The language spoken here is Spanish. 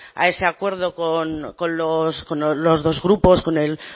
a ese acuerdo con los dos grupos con el